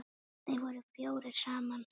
Þeir voru fjórir saman.